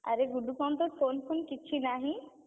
ଆରେ ଗୁଡୁ କଣ ତୋ phone phone କିଛି ନାହିଁ?